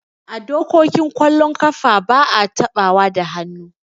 A dokokin kwallon kafa ba'a taɓawa da hannu.